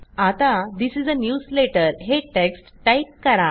आता this is a newsletter हे text type करा